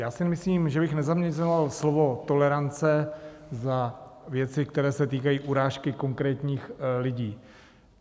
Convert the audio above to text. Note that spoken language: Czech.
Já si myslím, že bych nezaměňoval slovo tolerance za věci, které se týkají urážky konkrétních lidí.